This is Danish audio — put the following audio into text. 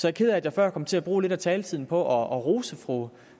er ked af at jeg før kom til at bruge lidt af taletiden på at rose fru